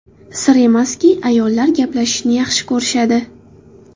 Sir emaski, ayollar gaplashishni yaxshi ko‘rishadi.